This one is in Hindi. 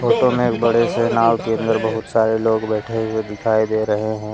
में एक बड़े से नाव के अंदर बहुत सारे लोग बैठे हुए दिखाई दे रहे हैं।